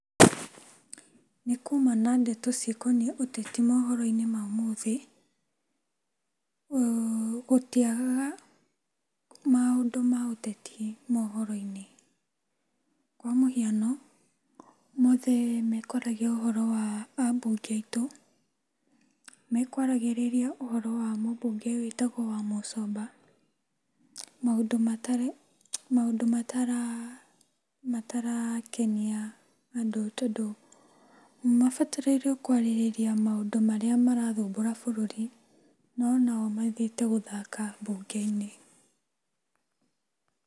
Nĩkuma na ndeto cikoniĩ ũteti mohoro-inĩ ma ũmũthĩ. Gũtiagagga maũndũ maũteti mohoro-inĩ. Kwamũhiano, ũmũthĩ makwaragia ũhũro wa a mbunge aitũ. Mekwaragĩrĩria ũhoro wa mũbunge wĩtagwo Wamũcomba maũndũ matarĩ , matarakenia andũ, tondũ mabatarĩirio kwaria maũndũ marĩa marathumbũra bũrũri, no nao mathiĩte gũthaka mbunge-inĩ.